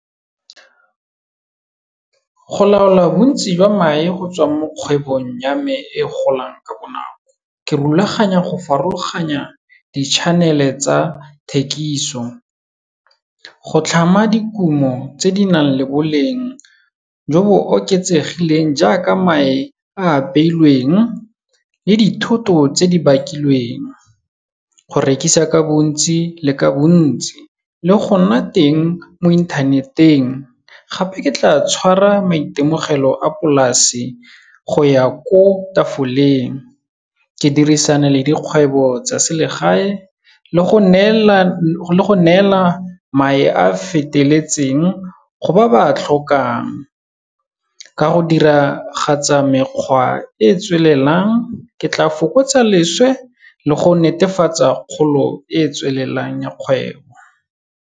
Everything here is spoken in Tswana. Go laola bontsi jwa mae go tswa mo kgwebong ya me e golang ka bonako, ke rulaganya go farologanya, di-chanel-e tsa thekiso. Go tlhama dikumo tse di nang le boleng jo bo oketsegileng jaaka mae a apeilweng le dithoto tse di bakilweng, go rekisa ka bontsi le ka bontsi, le go nna teng mo internet-eng gape ke tla tshwara maitemogelo a polasi go ya ko tafoleng, ke dirisana le dikgwebo tsa selegae le go neela mae a feteletseng go ba ba tlhokang. Ka go diragatsa mekgwa e e tswelelang, ke tla fokotsa leswe le go netefatsa kgolo e e tswelelang ya kgwebo.